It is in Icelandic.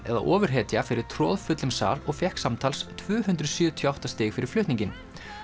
eða ofurhetja fyrir troðfullum sal og fékk samtals tvö hundruð sjötíu og átta stig fyrir flutninginn